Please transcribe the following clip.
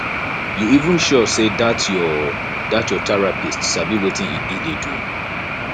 you even sure say dat your dat your therapist sabi wetin e dey do